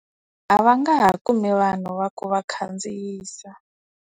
A va nga ha kumi vanhu va ku va khandziyisa.